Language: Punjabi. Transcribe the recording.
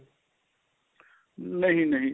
ਨਹੀੰ ਨਹੀੰ